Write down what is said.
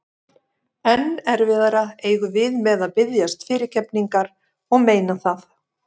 Enn erfiðara eigum við með að biðjast fyrirgefningar og meina það.